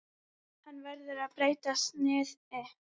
Hann verður með breyttu sniði.